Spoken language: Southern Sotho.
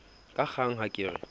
ka kgang ha ke re